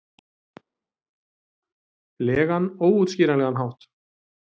legan, óútskýranlegan hátt.